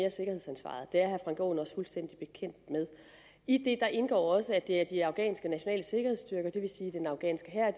af sikkerhedsansvaret det er herre frank aaen også fuldstændig bekendt med i det indgår også at det er de afghanske nationale sikkerhedsstyrker det vil sige den afghanske hær